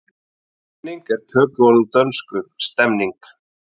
Stemning er tökuorð úr dönsku stemning.